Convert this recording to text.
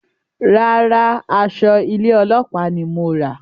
Rárá, aṣọ ilé ọlópàá ní mo rà